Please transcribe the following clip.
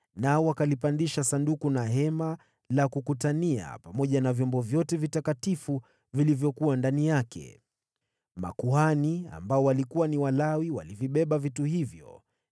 nao wakalipandisha Sanduku na Hema la Kukutania pamoja na vyombo vyote vitakatifu vilivyokuwa ndani yake. Makuhani, waliokuwa Walawi, walivibeba vitu hivyo,